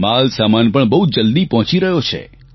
માલસામાન પણ બહુ જલદી પહોંચી રહ્યો છે